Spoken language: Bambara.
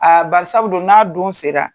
barisabu dun n'a don sera